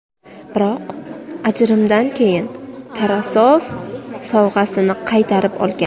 Biroq ajrimdan keyin Tarasov sovg‘asini qaytarib olgan.